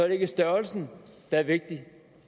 ikke størrelsen der er vigtig